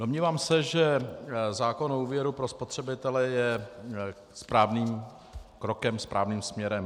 Domnívám se, že zákon o úvěru pro spotřebitele je správným krokem správným směrem.